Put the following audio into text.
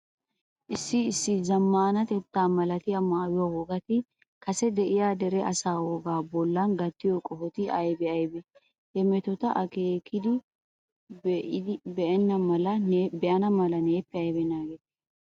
Issi issi zammaanatetta malatiya maayuwa wogati kase de'iya dere asaa wogaa bollan gattiyo qohoti aybee aybee? Ha metoti aakkiiddi Beenham mala neeppe aybi naagettii?